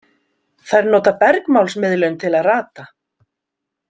Þær nota bergmálsmiðlun til að rata.